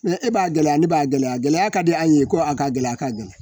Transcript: e b'a gɛlɛya ne b'a gɛlɛya gɛlɛya ka di an ye ko a ka gɛlɛya ka gɛlɛ